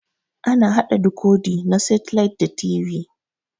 Ana haɗa dikodi na setilait da TV.